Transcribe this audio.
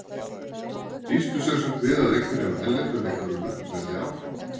Býstu semsagt við að einhverjir af erlendu leikmönnunum verði áfram?